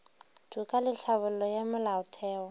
toka le tlhabollo ya molaotheo